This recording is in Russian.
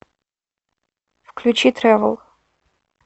включи тревел